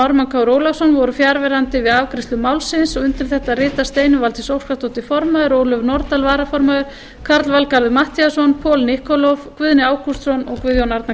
ármann krónu ólafsson voru fjarverandi við afgreiðslu málsins og undir þetta rita steinunn valdís óskarsdóttir form ólöf nordal varaformaður karl valgarður matthíasson paul nikolov guðni ágústsson og guðjón arnar kristjánsson